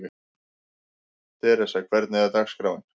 Theresa, hvernig er dagskráin?